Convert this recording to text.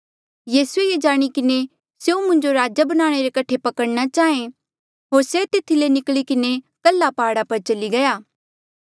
यीसूए ये जाणी किन्हें कि स्यों मुंजो राजा बणाणे रे कठे पकड़ना चाहें होर से तेथी ले निकली किन्हें कल्हा प्हाड़ा पर चली गया